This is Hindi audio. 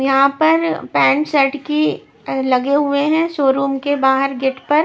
यहां पर पेंट शर्ट की लगे हुए हैं शोरूम के बाहर गेट पर--